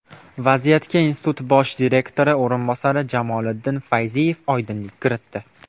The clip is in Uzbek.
Vaziyatga institut bosh direktori o‘rinbosari Jamoliddin Fayziyev oydinlik kiritdi.